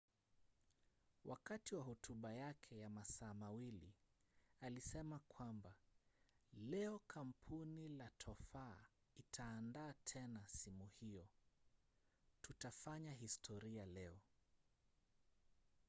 wakati wa hotuba yake ya masaa 2 alisema kwamba leo kampuni la tofaa itaandaa tena simu hiyo tutafanya historia leo